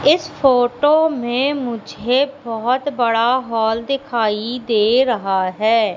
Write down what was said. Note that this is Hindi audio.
इस फोटो में मुझे बहुत बड़ा हॉल दिखाई दे रहा है।